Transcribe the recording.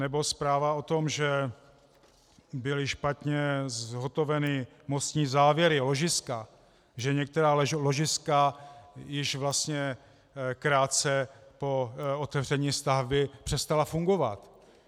Nebo zpráva o tom, že byly špatně zhotoveny mostní závěry, ložiska, že některá ložiska již vlastně krátce po otevření stavby přestala fungovat.